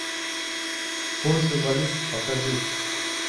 курсы валют покажи